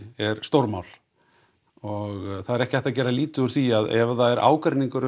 er stórmál og það er ekki hægt að gera lítið úr því að ef það er ágreiningur um